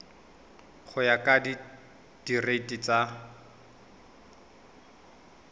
go ya ka direiti tsa